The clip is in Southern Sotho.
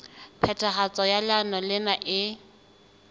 phethahatso ya leano lena e